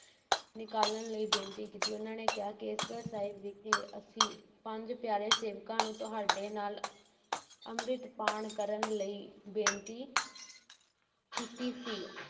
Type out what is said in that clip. ਨਿਕਾਲਣ ਲਈ ਬੇਨਤੀ ਕੀਤੀ, ਉਨ੍ਹਾਂ ਨੇ ਕਿਹਾ, ਕੇਸਗੜ੍ਹ ਸਾਹਿਬ ਵਿਖੇ ਅਸੀਂ ਪੰਜ ਪਿਆਰੇ ਸੇਵਕਾਂ ਨੂੰ ਤੁਹਾਡੇ ਨਾਲ ਅੰਮ੍ਰਿਤਪਾਨ ਕਰਨ ਲਈ ਬੇਨਤੀ ਕੀਤੀ ਸੀ